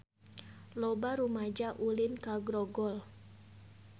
Loba rumaja ulin ka Grogol